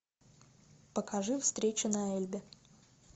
покажи встречу на эльбе